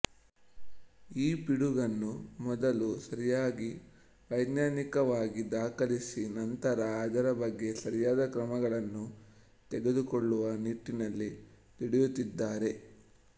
ಈ ಪಿಡುಗನ್ನು ಮೊದಲು ಸರಿಯಾಗಿ ವೈಜ್ಞಾನಿಕವಾಗಿ ದಾಖಲಿಸಿ ನಂತರ ಅದರ ಬಗ್ಗೆ ಸರಿಯಾದ ಕ್ರಮಗಳನ್ನು ತೆಗೆದುಕೊಳ್ಳುವ ನಿಟ್ಟಿನಲ್ಲಿ ದುಡಿಯುತ್ತಿದ್ದಾರೆ